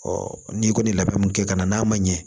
n'i kɔni ye labɛn mun kɛ ka na n'a ma ɲɛ